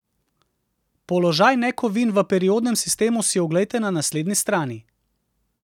Položaj nekovin v periodnem sistemu si oglejte na naslednji strani!